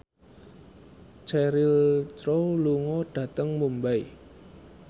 Cheryl Crow lunga dhateng Mumbai